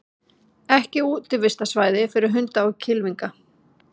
Ekki útivistarsvæði fyrir hunda og kylfinga